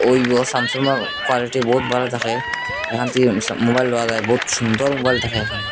স্যামসাংয়ের কোয়ালিটি বহুত ভালো থাকে এখান থেকে সা মোবাইল ভালো থাকে বহুত সুন্দর মোবাইল থাকে এখানে।